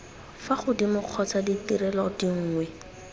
fa godimo kgotsa ditirelo dinngwe